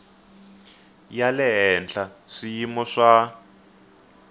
ya le henhla swiyimo swa